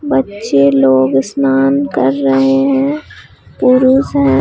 बच्चे लोग स्नान कर रहे हैं पुरुष हैं।